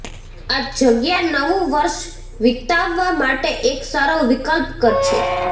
આ જગ્યા નવુ વર્ષ વિતાવવા માટે એક સારો વિકલ્પ છે